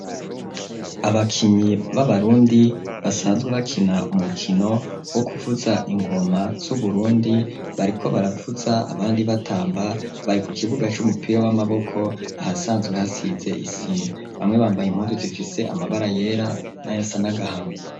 Abakinyi b'abarundi basanzwe bakina umukino wo kuvuza ingoma z'uburundi bariko baravuza abandi batamba bari ku kibuga c'umupira w'amaboko ahasanzwe hasize isima bamwe bambaye impuzu zifise amabara yera nayasa n'agahama.